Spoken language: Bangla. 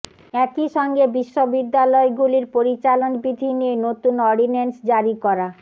একই সঙ্গে বিশ্ববিদ্যালয়গুলির পরিচালন বিধি নিয়ে নতুন অর্ডিন্যান্স জারি করা